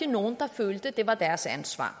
nogen der følte at det var deres ansvar